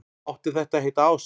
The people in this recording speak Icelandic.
Átti þetta að heita ást?